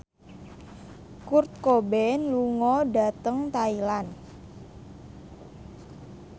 Kurt Cobain lunga dhateng Thailand